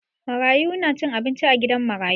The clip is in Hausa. Marayu na cin abinci a gidan marayu.